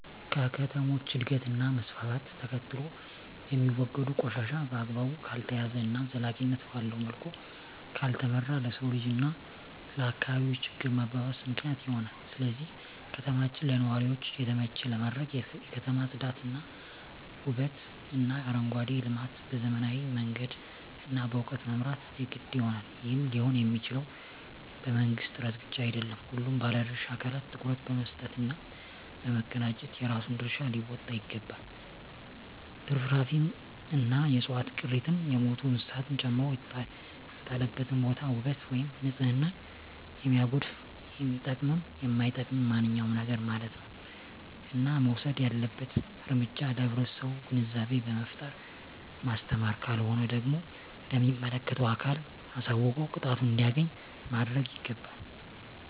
ከከተሞች እድገት እና መስፍፍት ተከትሎየሚወገዱ ቆሻሻ በአግባቡ ካልተያዘ እና ዘላቂነት ባለዉ መልኩ ካልተመራ ለሰዉ ልጅ እና ለአካባቢ ችግር መባባስ ምክንያት ይሆናል ስለዚህ ከተማችን ለነዋሪዎች የተመቸ ለማድረግ የከተማ ፅዳት ዉበትእና አረንጓዴ ልማት በዘመናዊ መንገድ እና በእዉቀት መምራት የግድ ይሆናል ይህም ሊሆንየሚችለዉ በመንግስት ጥረት ብቻ አይደለም ሁሉም ባለድርሻ አካላት ትኩረት በመስጠት እና በመቀናጀት የራሱን ድርሻ ሊወጣ ይገባል ትርፍራፊንእና የዕፅዋት ቅሪትን የሞቱ እንስሳትን ጨምሮ የተጣለበትን ቦታ ዉበት ወይም ንፅህናን የሚያጎድፍ የሚጠቅምም የማይጠቅምም ማንኛዉም ነገርማለት ነዉ እና መወሰድ ያለበት እርምጃ ለህብረተሰቡ ግንዛቤ በመፍጠር ማስተማር ካልሆነ ደግሞ ለሚመለከተዉ አካል አሳዉቆ ቅጣቱን እንዲያገኝ ማድረግይገባል